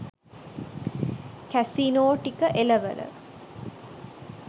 casino ටික එලවල